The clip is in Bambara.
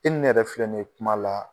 E ni ne yɛrɛ filɛ nin ye kuma la.